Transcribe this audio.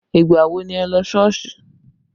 Ìgbà wo ni ẹ lọ sí Sọ́ọ̀sì?